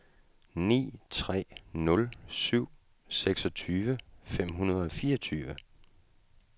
ni tre nul syv seksogtyve fem hundrede og fireogtyve